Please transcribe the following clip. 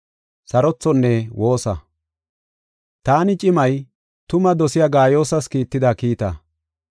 Taani cimay, tumaa dosiya Gaayoosas kiitida kiita.